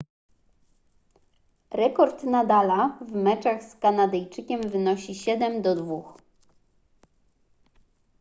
rekord nadala w meczach z kanadyjczykiem wynosi 7:2